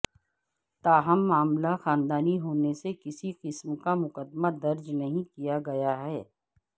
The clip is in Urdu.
تاہم معاملہ خاندانی ہونے سے کسی قسم کا مقدمہ درج نہیں کیا گیا ہے